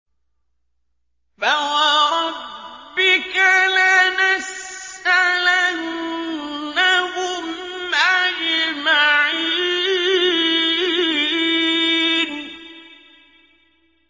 فَوَرَبِّكَ لَنَسْأَلَنَّهُمْ أَجْمَعِينَ